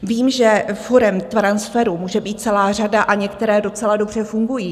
Vím, že forem transferu může být celá řada a některé docela dobře fungují.